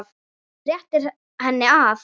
Réttir henni annað.